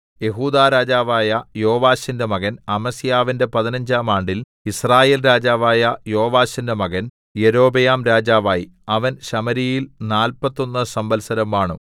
യെഹൂദാ രാജാവായ യോവാശിന്റെ മകൻ അമസ്യാവിന്റെ പതിനഞ്ചാം ആണ്ടിൽ യിസ്രായേൽ രാജാവായ യോവാശിന്റെ മകൻ യൊരോബെയാം രാജാവായി അവൻ ശമര്യയിൽ നാല്പത്തൊന്ന് സംവത്സരം വാണു